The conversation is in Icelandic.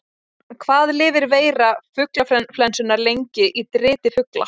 Hvað lifir veira fuglaflensunnar lengi í driti fugla?